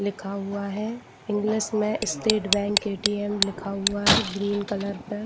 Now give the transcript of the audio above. लिखा हुआ है इंग्लिश में स्टेट बैंक ए.टी.एम लिखा हुआ है ग्रीन कलर पर--